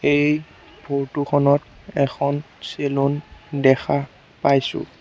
এই ফটো খনত এখন চেলুন দেখা পাইছোঁ।